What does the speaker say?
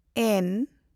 ᱮᱱ